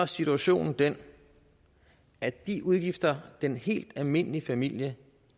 situationen den at de udgifter den helt almindelige familie